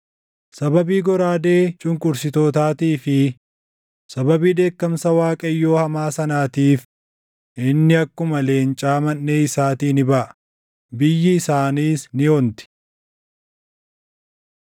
Sababii goraadee cunqursitootaatii fi sababii dheekkamsa Waaqayyoo hamaa sanaatiif, inni akkuma leencaa manʼee isaatii ni baʼa; biyyi isaaniis ni onti.